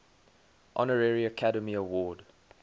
honorary academy award